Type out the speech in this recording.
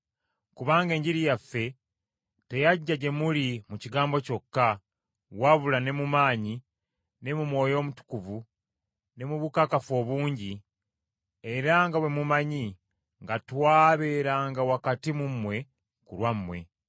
Kubanga Enjiri yaffe teyajja gye muli mu kigambo kyokka, wabula ne mu maanyi, ne mu Mwoyo Omutukuvu, ne mu bukakafu obungi, era nga bwe mumanyi nga twabeeranga wakati mu mmwe ku lwammwe.